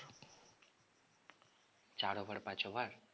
চার over পাঁচ over?